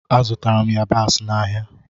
Azụtara m yabasị n'ahịa.